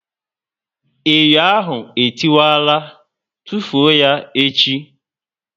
Enyo ahụ e tiwara, tufuo ya echi!